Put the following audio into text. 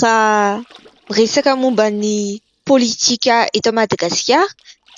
Raha resaka momba ny politika eto Madagasikara